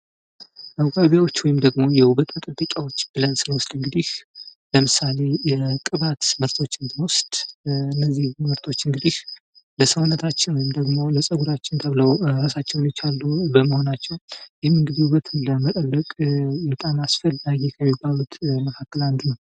መዋቢያዎች ወይም የዉበት መጠበቂያዎች ብለን ስንወስድ እንግዲህ ለምሳሌ የቅባት ምርቶች ብንወስድ እነዚህ ምርቶች እንግዲህ ለሰዉነታችን ወይም ደግሞ ለፀጉራችን ተብለዉ ራሳቸዉን የቻለዉ በመሆናቸዉ ይህም ዉበትን ለመጠበቅ በጣም አስፈላጊ ከሚባሉት መካከል አንዱ ነዉ።